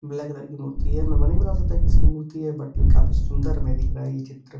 Black colour की मूर्ती है। मैं नही बता सकता ये किसकी मूर्ती है। बूट काफी सुंदर में दिख रहा ये चित्र।